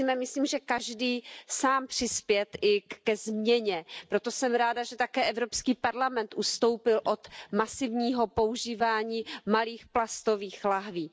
Musíme, myslím, i každý sám přispět ke změně, proto jsem ráda, že také Evropský parlament ustoupil od masivního používání malých plastových lahví.